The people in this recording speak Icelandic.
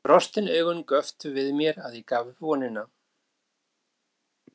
Ekki fyrr en brostin augu göptu við mér að ég gaf upp vonina.